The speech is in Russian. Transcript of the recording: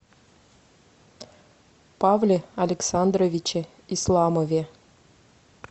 павле александровиче исламове